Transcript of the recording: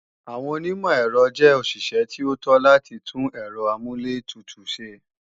Àwọn onímọ̀-èrọ jẹ́ òṣìṣẹ́ tí ó tó láti tún Ẹ̀rọ amúlẹ̀tutù ṣe